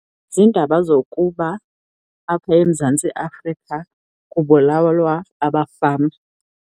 Ziindaba zokuba apha eMzantsi Afrika kubulalwa abafama.